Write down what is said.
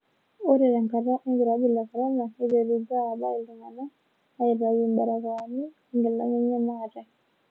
Ore tenkata olkirob le corona neiterutua apa iltungana aitayu mbarakoani oo nkilani enye maate.